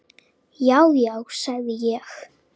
Já, já, sagði ég.